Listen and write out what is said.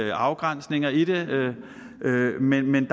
af afgrænsningerne af det men men